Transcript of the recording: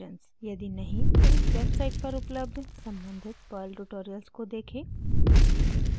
यदि नहीं तो इस वेबसाइट पर उपलब्ध सम्बंधित perl ट्यूटोरियल्स को देखें